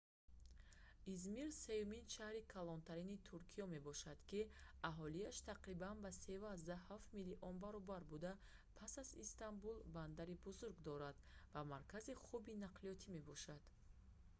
измир сеюмин шаҳри калонтарини туркиё мебошад ки аҳолиаш тақрибан ба 3,7 миллион баробар буда пас аз истанбул бандари бузург дорад ва маркази хуби нақлиётӣ мебошад